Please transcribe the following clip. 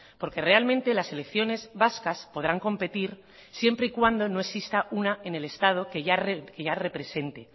porque realmente la selecciones vascas podrán competir siempre y cuando no exista una en el estado que ya represente